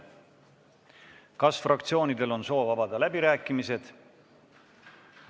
Kas fraktsioonidel on soovi avada läbirääkimisi?